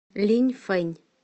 линьфэнь